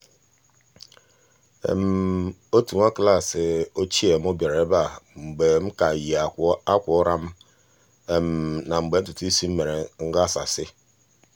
otu nwa klaasị ochie mụ bịara ebe a mgbe m ka yi ákwà ụra m na mgbe ntụtụisi m mere nghasasị